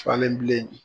Falen bilen